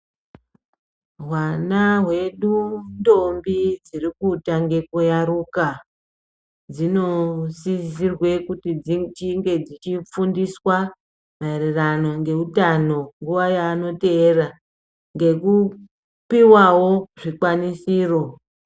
Hwana hwedu ndombi dzirikutange kuyaruka. Dzinosizirwa kuti dzichinge dzichifundiswa maererano ngeutano nguva yaanoteera ngekupivavo zvikwanisiro.